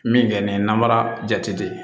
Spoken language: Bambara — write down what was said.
Min kɛ ni namara jate de ye